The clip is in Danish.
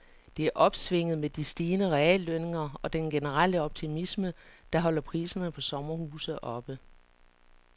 Det er opsvinget med de stigende reallønninger og den generelle optimisme, der holder priserne på sommerhuse oppe.